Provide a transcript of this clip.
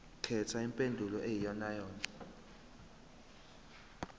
khetha impendulo eyiyonayona